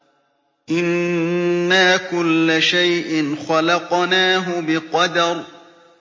إِنَّا كُلَّ شَيْءٍ خَلَقْنَاهُ بِقَدَرٍ